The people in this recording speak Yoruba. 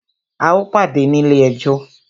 A o pàdé ní ilé ẹjọ́!